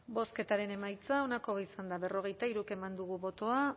bozketaren emaitza onako izan da berrogeita hiru eman dugu bozka